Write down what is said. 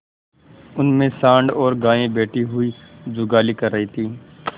उनमें सॉँड़ और गायें बैठी हुई जुगाली कर रही थी